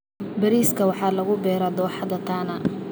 Bariiska waxaa lagu beeraa dooxada Tana.